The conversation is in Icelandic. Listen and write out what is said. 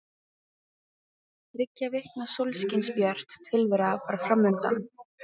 Þriggja vikna sólskinsbjört tilvera var fram undan.